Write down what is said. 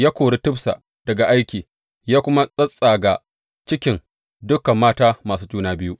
Ya kori Tifsa daga aiki, ya kuma tsattsaga cikin dukan mata masu juna biyu.